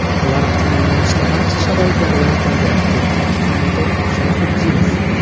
Ular uchun yo‘nalishda barcha sharoitlar yaratilgan”, deb ta’kidlaydi Shayxutdinov.